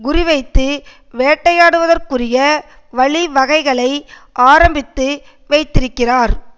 குறிவைத்து வேட்டையாடுவதற்குரிய வழிவகைகளை ஆரம்பித்து வைத்திருக்கிறார்